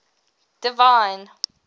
divine